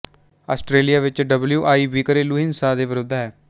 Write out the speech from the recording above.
Australia ਵਿੱਚ W I B ਘਰੇਲੂ ਹਿੰਸਾ ਦੇ ਵਿਰੁੱਧ ਹੈ